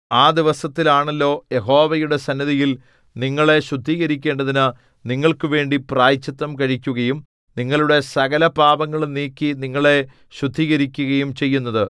ആ ദിവസത്തിൽ ആണല്ലോ യഹോവയുടെ സന്നിധിയിൽ നിങ്ങളെ ശുദ്ധീകരിക്കേണ്ടതിനു നിങ്ങൾക്കുവേണ്ടി പ്രായശ്ചിത്തം കഴിക്കുകയും നിങ്ങളുടെ സകലപാപങ്ങളും നീക്കി നിങ്ങളെ ശുദ്ധീകരിക്കുകയും ചെയ്യുന്നത്